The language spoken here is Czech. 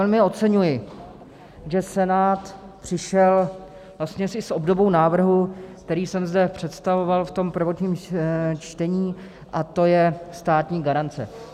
Velmi oceňuji, že Senát přišel vlastně i s obdobou návrhu, který jsem zde představoval v tom prvotním čtení, a to je státní garance.